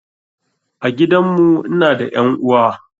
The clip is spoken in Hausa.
A gidan mu ina da ƴan uwa